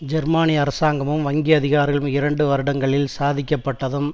ஜெர்மனிய அரசாங்கமும் வங்கி அதிகாரிகளும் இரண்டு வருடங்களில் சாதிக்கப்பட்டதும்